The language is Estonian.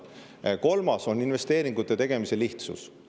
Kolmas on investeeringute tegemise lihtsus.